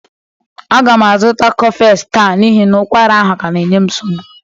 A ga m azụta cofex taa n'ihi na ụkwara ahụ ka na-enye m nsogbu